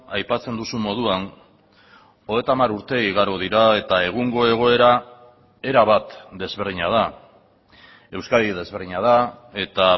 aipatzen duzun moduan hogeita hamar urte igaro dira eta egungo egoera erabat desberdina da euskadi desberdina da eta